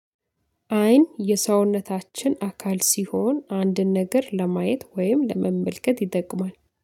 አይን የሰውነታችን አካል ሲሆን አንድን ነገር ለማየት ወይም ለመመልከት ይጠቅማል